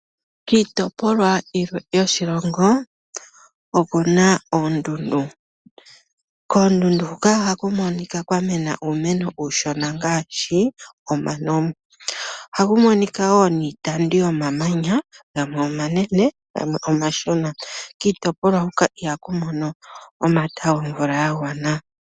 Kiitopolwa yilwe yoshilongo oku na oondundu. Koondundu huka ohaku monika kwa mena uumeno uushona ngaashi omano. Ohaku monika woo niitandu yomamanya gamwe omanene, gamwe omashona. Kiitopolwa huka ihaku mono omata gomvula ga gwana.